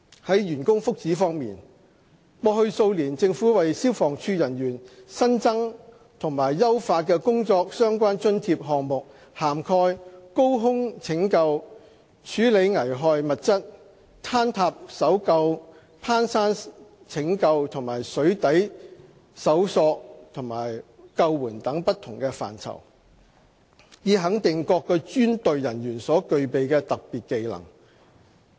在員工福祉方面，過去數年政府為消防處人員新增和優化的工作相關津貼項目涵蓋高空拯救、處理危害物質、坍塌搜救、攀山拯救和水底搜索和救援等不同範疇，以肯定各專隊人員所具備的特別技能。